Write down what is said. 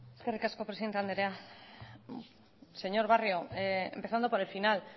eskerrik asko presidente anderea señor barrio empezando por el final